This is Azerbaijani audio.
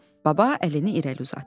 Baba əlini irəli uzatdı.